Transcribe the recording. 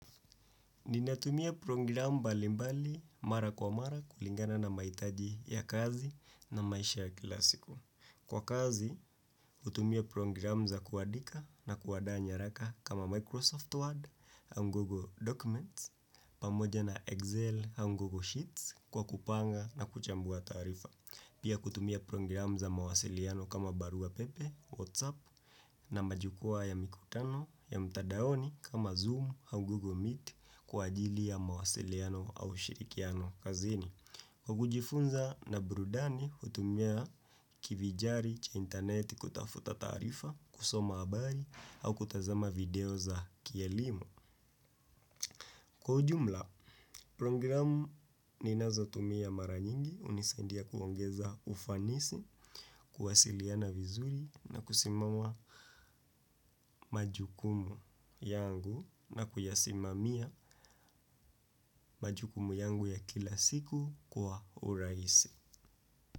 Ninatumia program mbalimbali mara kwa mara kulingana na mahitaji ya kazi na maisha ya kila siku. Kwa kazi, hutumia program za kuandika na kuandaa nyaraka kama Microsoft Word au Google Documents, pamoja na Excel au Google Sheets kwa kupanga na kuchambua taarifa. Pia kutumia program za mawasiliano kama barua pepe, WhatsApp na majukwaa ya mikutano ya mtandaoni kama Zoom au Google Meet kwaajili ya mawasiliano au shirikiano kazini. Kwa kujifunza na burudani kutumia kivinjari cha intaneti kutafuta taarifa, kusoma habari au kutazama video za kielimu kwa ujumla. Programu ninazotumia mara nyingi hunisaidia kuongeza ufanisi, kuwasiliana vizuri na kusimama majukumu yangu na kuyasimamia majukumu yangu ya kila siku kwa urahisi.